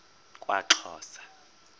kwaxhosa